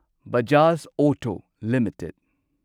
Bajaj auto limited